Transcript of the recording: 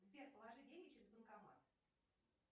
сбер положи деньги через банкомат